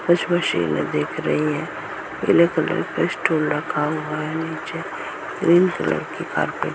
कुछ मशीने दिख रही है पीले कलर का स्टूल रखा हुआ है नीचे ग्रीन कलर की कार्पेट --